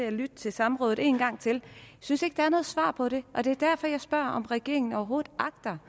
at lytte til samrådet en gang til for synes ikke der er noget svar på det og det er derfor jeg spørger om regeringen overhovedet agter